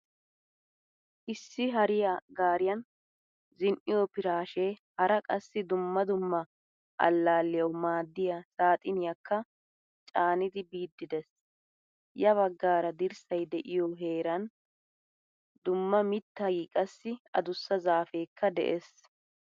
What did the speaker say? Issi hariyaa gariyaan zin'iyo pirashe hara qassi dumma dumma alllaliyawu maaddiya saaxiniyakka caanidi biidi de'ees. Yaa baggaara dirssay deiyo heeran dumma mittay qassi adussa zaafekka de'ees.